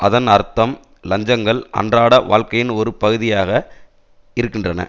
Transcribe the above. அதன் அர்த்தம் இலஞ்சங்கள் அன்றாட வாழ்க்கையின் ஒரு பகுதியாக இருக்கின்றன